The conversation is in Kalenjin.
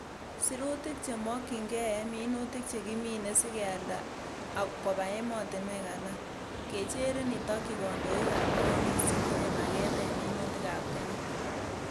Sirutik chekimokyin gee en minutik chekimine sikeib kialda koba emotinwel alak, kecherin itokyi kondoik ab koundis chetinye maaget en minutik ab kenya.